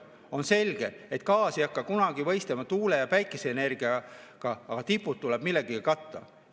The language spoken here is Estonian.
On selge, et gaas ei hakka kunagi võistlema tuule‑ ja päikeseenergiaga, aga tipud tuleb millegagi katta.